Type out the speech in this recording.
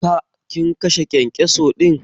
Ka/ kin kashe kyankyaso din?